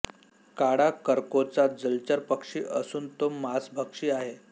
काळा करकोचा जलचर पक्षी असून तो मांसभक्षी आहे